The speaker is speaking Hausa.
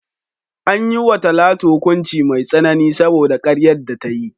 An yi wa Talatu hukunci mai tsanani saboda karyar da ta yi.